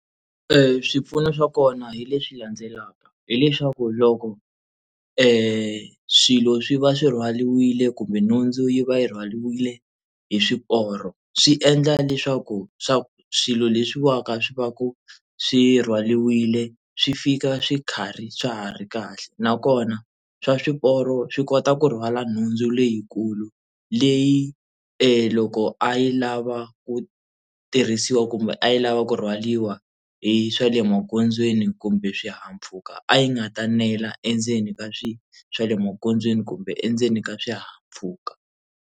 Swipfuno swa kona hi leswi landzelaka hileswaku loko swilo swi va swi rhwaliwile kumbe nhundzu yi va yi rhwaliwe hi swiporo swi endla leswaku swa swilo leswiwani swi va ku swi rhwaliwile swi fika swi nkharhi swa ha ri kahle nakona swa swiporo swi kota ku rhwala nhundzu leyikulu leyi e loko a yi lava ku tirhisiwa kumbe a yi lava ku rhwaliwa hi swa le magondzweni kumbe swihahampfhuka a yi nga ta nela endzeni ka swa le magondzweni kumbe endzeni ka swihahampfhuka.